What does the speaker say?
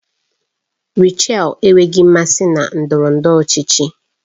Rachel enweghị mmasị na ndọrọ ndọrọ ọchịchị